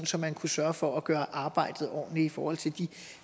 så man kunne sørge for at gøre arbejdet ordentligt i forhold til de